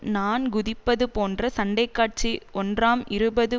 நான் குதிப்பதுபோன்ற சண்டைக்காட்சி ஒன்றாம் இருநூறு